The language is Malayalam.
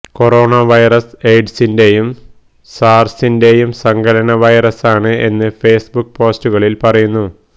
കൊറോണ വൈറസ് എയ്ഡ്സിന്റെയും സാര്സിന്റെയും സങ്കലന വൈറസാണ് എന്ന് ഫേസ്ബുക്ക് പോസ്റ്റുകളില് പറയുന്നു